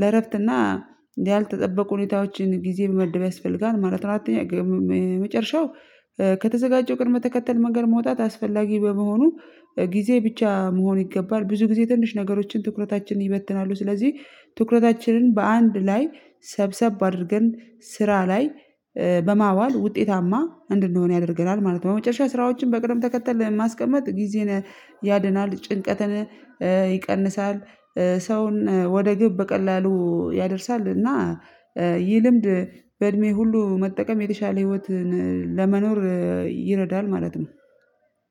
ለእረፍትና ያልተጠበቁ ሁኔታዎችን ጊዜ መመደብ ያስፈልጋል ማለት ነው። አራተኛ መጨረሻው ከተዘጋጀው ቅድመ ተከተል መንገድ መውጣት አስፈላጊ በመሆኑ ጊዜ ብቻ መሆን ይገባል ብዙ ጊዜ ትንሽ ነገሮችን ትኩረታችንን ይበትናሉ። ስለዚህ ትኩረታችንን በአንድ ላይ ሰብሰብ አድርገን ስራ ላይ በማዋል ውጤታማ አንድንሆን ያደርገናል ማለት ነው። በመጨረሻ ስራዎችን በቅደም ተከተል ማስቀመጥ ጊዜን ያድናል ጭንቀትን ይቀንሳል ሰውን ወደ ግብ በቀላሉ ያደርሳል። እና ይህ ልምድ በእድሜ ሁሉ መጠቀም የተሻለ ህይወትን ለመኖር ይረዳል ማለት ነው።